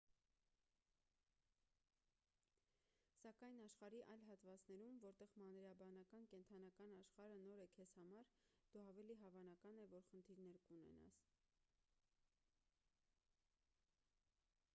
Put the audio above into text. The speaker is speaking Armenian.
սակայն աշխարհի այլ հատվածներում որտեղ մանրէաբանական կենդանական աշխարհը նոր է քեզ համար դու ավելի հավանական է որ խնդիրներ կունենաս